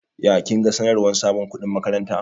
Ya kinga sanarwar sabon kuɗin makaranta?